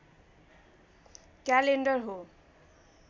calendar हो